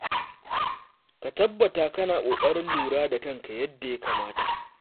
Ka tabbata kana ƙoƙarin lura da kanka yadda ya kamata.